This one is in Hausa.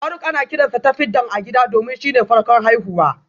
Faruk ana kiransa Tafidan a gida domin shine farkon haihuwa